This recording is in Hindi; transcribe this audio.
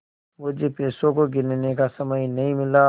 मुझे पैसों को गिनने का समय नहीं मिला